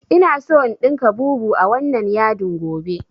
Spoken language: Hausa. Ina so in ɗinka bubu a wannan yadin gobe